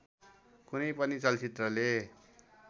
कुनै पनि चलचित्रले